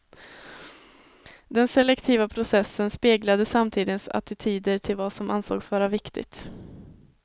Den selektiva processen speglade samtidens attityder till vad som ansågs vara viktigt.